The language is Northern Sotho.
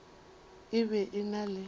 e be e na le